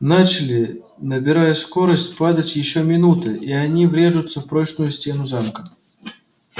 начали набирая скорость падать ещё минута и они врежутся в прочную стену замка